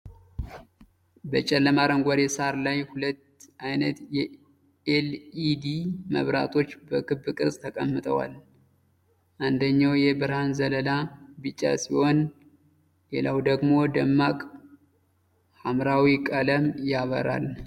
በጨለማ አረንጓዴ ሳር ላይ ሁለት ዓይነት የኤል.ኢ.ዲ. መብራቶች በክብ ቅርጽ ተቀምጠዋል። አንደኛው የብርሃን ዘለላ ቢጫ ሲሆን፣ ሌላኛው ደግሞ ደማቅ ሐምራዊ ቀለም ያበራል።